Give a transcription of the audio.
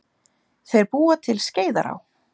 Þeir búa til Skeiðará.